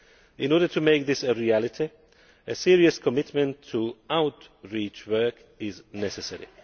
In order to make this a reality, a serious commitment to outreach work is necessary.